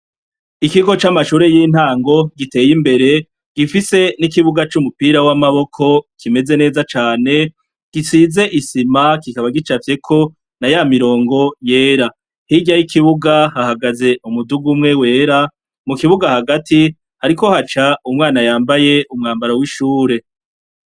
Ikigo c'amashure y'intango giteye imbere, gifise n'ikibuga c'umupira w'amaboko, kimeze neza cane gisize isima kikaba gicafyeko naya mirongo yera. Hirya y'ikibuga hahagaze umuduga umwe wera, mu kibuga hagati hariko haca umwana yambaye umwambaro w'ishure.